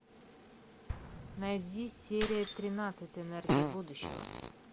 найди серия тринадцать энергия будущего